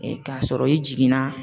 k'a sɔrɔ i jiginna